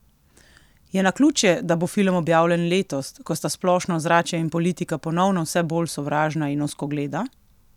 Je naključje, da bo film objavljen letos, ko sta splošno ozračje in politika ponovno vse bolj sovražna in ozkogleda?